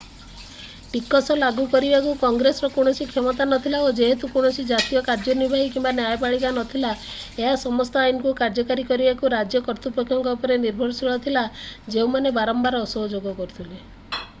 ଟିକସ ଲାଗୁ କରିବାକୁ କଂଗ୍ରେସର କୌଣସି କ୍ଷମତା ନଥିଲା ଏବଂ ଯେହେତୁ କୌଣସି ଜାତୀୟ କାର୍ଯ୍ୟନିର୍ବାହୀ କିମ୍ବା ନ୍ୟାୟପାଳିକା ନ ଥିଲା ଏହା ସମସ୍ତ ଆଇନକୁ କାର୍ଯ୍ୟକାରୀ କରିବାକୁ ରାଜ୍ୟ କର୍ତ୍ତୃପକ୍ଷଙ୍କ ଉପରେ ନିର୍ଭରଶୀଳ ଥିଲା ଯେଉଁମାନେ ବାରମ୍ବାର ଅସହଯୋଗ କରୁଥିଲେ i